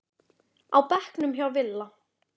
á bekknum hjá Villa.